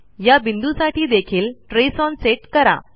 या बिंदूसाठी देखील ट्रेस ओन सेट करा